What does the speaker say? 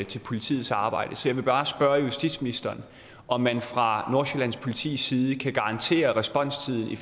til politiets arbejde så jeg vil bare spørge justitsministeren om man fra nordsjællands politis side kan garantere at responstiden i